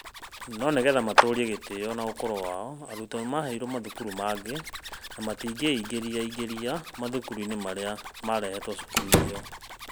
No nĩ getha matũũrie gĩtĩo na ũkũrũ wao, arutwo nĩ maaheirũo mathukuru mangĩ na matingĩingĩingĩra mathukuru-inĩ marĩa marehetwo cukuru ĩyo.